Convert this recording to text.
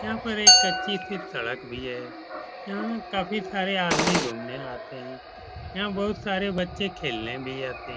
यहाँ पर एक कच्ची सी सड़क भी है। यहाँ बहुत सारे आदमी घूमने आते हैं। यहाँ बहुत सारे बच्चे खेलने भी आते --